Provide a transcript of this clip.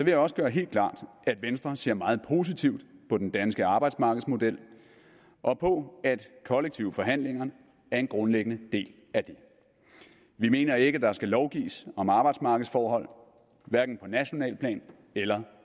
jeg også gøre helt klart at venstre ser meget positivt på den danske arbejdsmarkedsmodel og på at kollektive forhandlinger er en grundlæggende del af det vi mener ikke at der skal lovgives om arbejdsmarkedsforhold hverken på nationalt plan eller